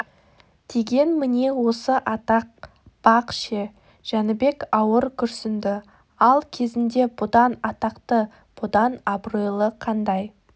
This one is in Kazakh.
деген міне осы атақ бақ ше жәнібек ауыр күрсінді ал кезінде бұдан атақты бұдан абыройлы қандай